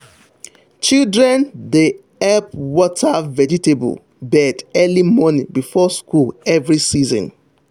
children dey help water vegetable bed early morning before school every season.